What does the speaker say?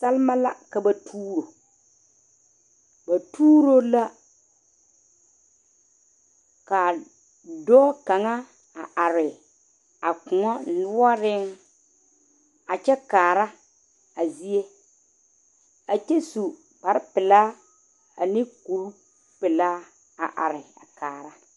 Salma la ka ba tuuro ba tuuro la ka dɔɔ kaŋa a are a kõɔ noɔre a kyɛ kaara a zie a kyɛ su kpare pelaa ane kur pelaa a are a kaara.